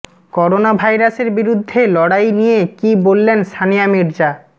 corona ভাইরাসের বিরুদ্ধে লড়াই নিয়ে কী বললেন সানিয়া মির্জা